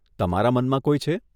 તમારા મનમાં કોઈ છે?